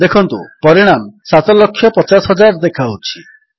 ଦେଖନ୍ତୁ ପରିଣାମ 750000 ଦେଖାଉଛି